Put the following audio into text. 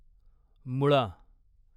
मुळा